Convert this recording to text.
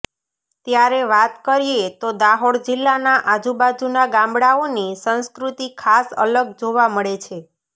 ત્યારે વાત કરીએ તો દાહોદ જિલ્લાના આજુ બાજુના ગામડાંઓની સંસ્કૃતિ ખાસ અલગ જોવા મળે છે